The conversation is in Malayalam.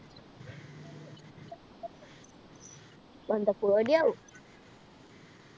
എന്താ പേടിയാവും